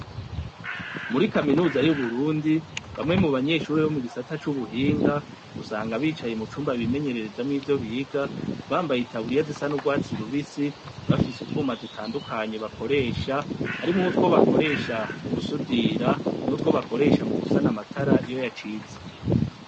Muri kaminuza y'uburundi bamwe mubanyeshure bo mugisata c'ubuhinga ,usanga bicaye mu cumba bimenyerezamwo ivyo biga bambaye itaburiya zisa n'urwatsi rubisi ,bafise utwuma dutandukanye bakoresha, harimwo utwo bakoresha mugusudira nutwo bakoresha mugusa amatara iyo yacitse.